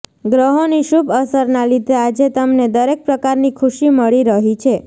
ગ્રહોની શુભ અસરના લીધે આજે તમને દરેક પ્રકારની ખુશી મળી રહી છે